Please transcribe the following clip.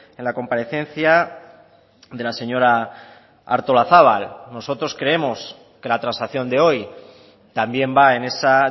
en la comparecencia de la señora artolazabal nosotros creemos que la transacción de hoy también va en esa